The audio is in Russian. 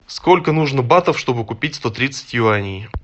сколько нужно батов чтобы купить сто тридцать юаней